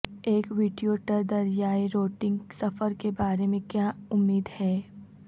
ایک ویٹیوٹر دریائے روٹنگ سفر کے بارے میں کیا امید ہے